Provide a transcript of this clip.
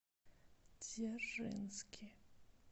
дзержинский